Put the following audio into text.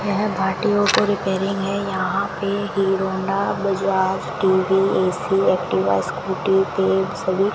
यह भाटियों को रिपेयरिंग है यहां पे Hero Honda Bajaj TV AC Activa Scooty के सभी --